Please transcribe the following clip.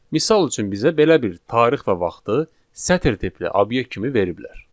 Misal üçün, bizə belə bir tarix və vaxtı sətr tipli obyekt kimi veriblər.